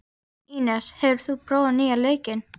Ínes, hefur þú prófað nýja leikinn?